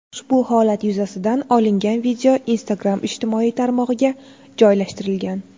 Ushbu holat yuzasidan olingan video Instagram ijtimoiy tarmog‘iga joylashtirilgan.